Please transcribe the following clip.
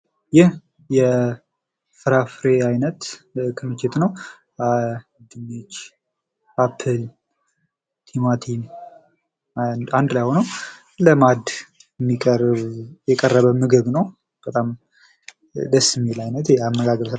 ይህ የፍራፍሬ አይነት ክምችት ነው። ድንች አፕል ቲማቲም አንድ ላይ ሁነው ለማዕድ የቀረበ ቡድን ነው። በጣም ደስ የሚል አይነት የአመጋገብ